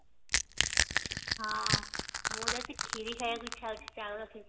ହଁ ମୋର ଆଜି ଖିରୀ ଖାଇବାକୁ ଇଚ୍ଛା ହଉଛି ଚାଉଳ ଖିରୀ